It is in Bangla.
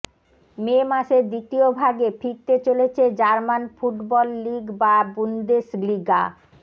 মে মাসের দ্বিতীয় ভাগে ফিরতে চলেছে জার্মান ফুটবল লিগ বা বুন্দেশলিগা